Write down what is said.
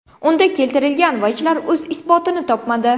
Unda keltirilgan vajlar o‘z isbotini topmadi.